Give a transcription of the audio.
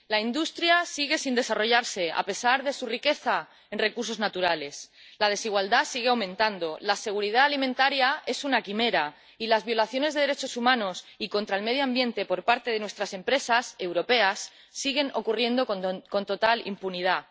La industria sigue sin desarrollarse a pesar de su riqueza en recursos naturales, la desigualdad sigue aumentando, la seguridad alimentaria es una quimera y las violaciones de derechos humanos y contra el medio ambiente por parte de nuestras empresas europeas siguen ocurriendo con total impunidad.